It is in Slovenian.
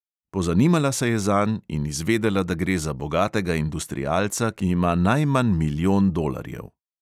Pozanimala se je zanj in izvedela, da gre za bogatega industrialca, ki ima najmanj milijon dolarjev.